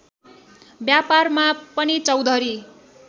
व्यापारमा पनि चौधरी